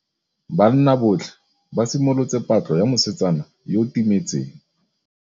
Banna botlhê ba simolotse patlô ya mosetsana yo o timetseng.